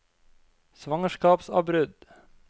svangerskapsavbrudd